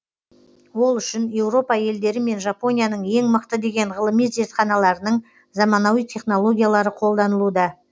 ол үшін еуропа елдері мен жапонияның ең мықты деген ғылыми зертханаларының заманауи технологиялары қолданылуда